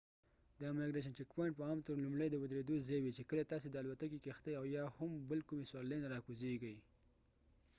د امګریشن چک پواینټ په عام طور لومړۍ د ودرېدو ځای وي چې کله تاسی د الوتکې کښتۍ یا هم بل کومي سورلۍ نه راکوزیږۍ